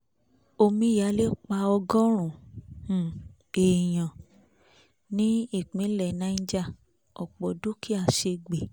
omíyalé pa ọgọ́rùn-ún èèyàn ní ìpínlẹ̀ niger ọ̀pọ̀ dúkìá sẹ́gbẹ́